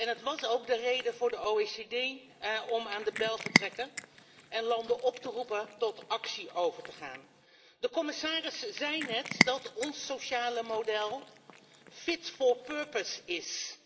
Het was ook de reden voor de OESO om aan de bel te trekken en landen op te roepen tot actie over te gaan. De commissaris zei net dat ons sociale model fit for purpose is.